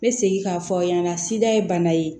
N bɛ segin k'a fɔ aw ɲɛna sida ye bana ye